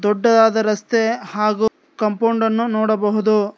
ದೊಡ್ಡದಾದ ರಸ್ತೆ ಹಾಗು ಕಾಂಪೌಂಡ್ ನ್ನು ನೋಡಬಹುದು.